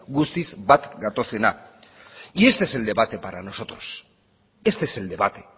guztiz bat gatozena y este es el debate para nosotros este es el debate